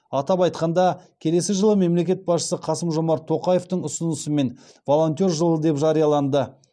атап айтқанда келесі жылы мемлекет басшысы қасым жомарт тоқаевтың ұсынысымен волонтер жылы деп жарияланды